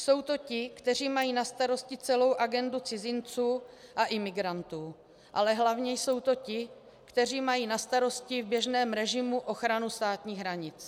Jsou to ti, kteří mají na starosti celou agendu cizinců a imigrantů, ale hlavně jsou to ti, kteří mají na starosti v běžném režimu ochranu státních hranic.